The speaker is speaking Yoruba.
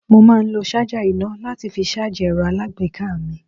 Mo máa lo ṣájà iná láti fi ṣáájì ẹ̀rọ alágbèéká mi.